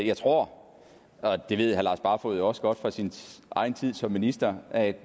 jeg tror og det ved herre lars barfoed jo også godt fra sin egen tid som minister at